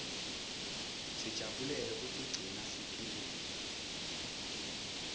sijabulele kutiguna siphilile